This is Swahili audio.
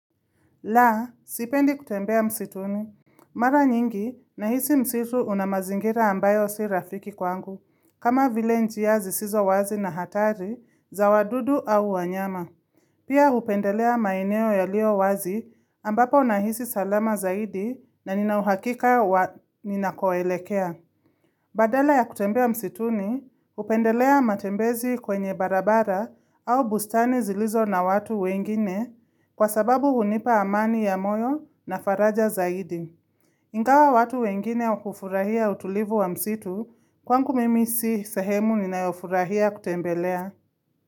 La, sipendi kutembea msituni. Mara nyingi, nahisi msitu unamazingira ambayo si rafiki kwangu, kama vile njiyazi sizo wazi na hatari za wadudu au wanyama. Pia hupendelea maineo ya lio wazi ambapo unahisi salama zaidi na ninauhakika wa nina koelekea. Badala ya kutembea wa msituni, upendelea matembezi kwenye barabara au bustani zilizo na watu wengine kwa sababu hunipa amani ya moyo na faraja zaidi. Ingawa watu wengine ukufurahia utulivu wa msitu, kwangu mimi si sehemu ni na yofurahia kutembelea.